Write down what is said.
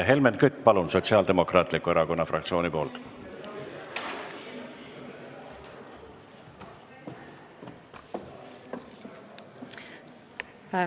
Helmen Kütt, Sotsiaaldemokraatliku Erakonna fraktsiooni nimel, palun!